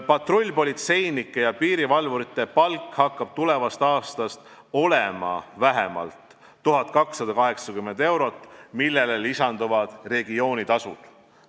Patrullpolitseinike ja piirivalvurite palk hakkab tulevast aastast olema vähemalt 1280 eurot, millele lisanduvad regioonitasud.